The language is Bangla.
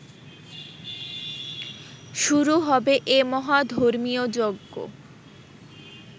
শুরু হবে এ মহা ধর্মীয়যজ্ঞ